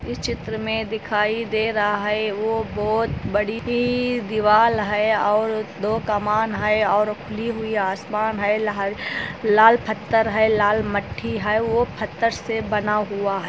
इस चित्र में दिखाई दे रहा वो बहोत बड़ी दिवाल हे और दो कमान हे और खली हुई आसमान हे लाल फत्थर हैं लाल मट्ठी हैं। वह फत्थर से बना--